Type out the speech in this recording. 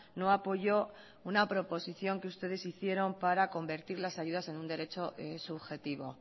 no apoyó una proposición que ustedes hicieron para convertir las ayudas en un derecho subjetivo